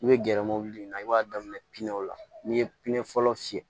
I bɛ gɛrɛ mobili in na i b'a daminɛ pinɛw la n'i ye pime fɔlɔ fiyɛ